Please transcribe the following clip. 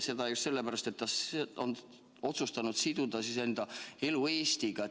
Ja tuleb sellepärast, et ta on otsustanud siduda enda elu Eestiga.